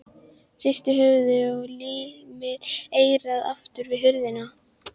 Hristir höfuðið og límir eyrað aftur við hurðina.